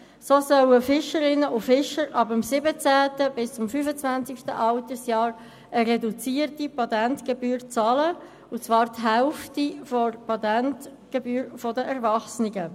So sollen Fischerinnen und Fischer ab dem 17. bis zum 25. Altersjahr eine reduzierte Patentgebühr zahlen, und zwar die Hälfte der Patentgebühr für die Erwachsenen.